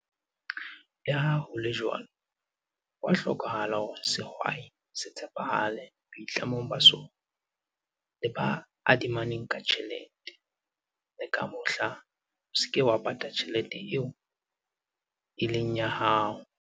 Le ha ho le jwalo, ho a hlokahala hore sehwai se tshepahale boitlamong ba sona le ba adimanang ka tjhelete - le ka mohla o se ke wa pata tjhelete eo e leng ya hao.